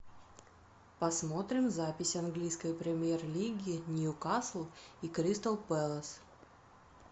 посмотрим запись английской премьер лиги ньюкасл и кристал пэлас